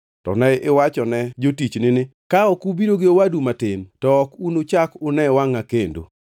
To ne iwachone jotichni ni, ‘Ka ok ubiro gi owadu matin, to ok unuchak une wangʼa kendo.’